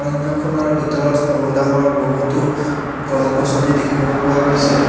অৰণ্যখনৰ ভিতৰত সৰু ডাঙৰ বহুতো গছ গছনি দেখিব পোৱা গৈছে।